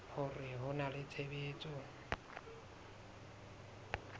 hore ho na le tshebetso